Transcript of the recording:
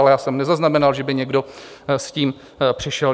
Ale já jsem nezaznamenal, že by někdo s tím přišel.